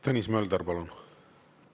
Tõnis Mölder, palun!